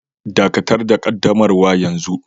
Dakatar da ƙaddamarwa yanzu